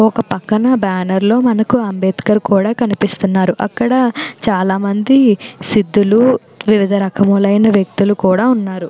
ఒక పక్కన బ్యానర్ లో మనకు అంబేద్కర్ కూడా కనిపిస్తున్నారు. అక్కడ చాలామంది సిద్ధులు వివిధ రకములైన వ్యక్తులు కూడా ఉన్నారు.